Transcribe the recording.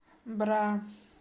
бра